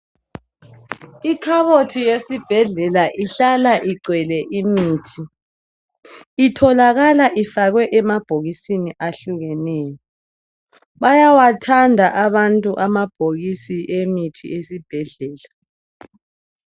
Ikhabothi uyesibhedlela ihlala igcwele imithi itholakala ifakwe emabhokisini ahlukeneyo bayawathanda abantu amabhokisi emithi yesibhedlela